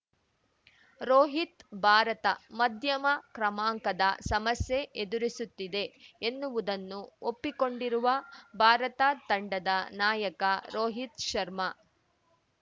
ರೋಹಿತ್‌ ಭಾರತ ಮಧ್ಯಮ ಕ್ರಮಾಂಕದ ಸಮಸ್ಯೆ ಎದುರಿಸುತ್ತಿದೆ ಎನ್ನುವುದನ್ನು ಒಪ್ಪಿಕೊಂಡಿರುವ ಭಾರತ ತಂಡದ ನಾಯಕ ರೋಹಿತ್‌ ಶರ್ಮಾ